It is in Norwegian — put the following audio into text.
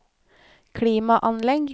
klimaanlegg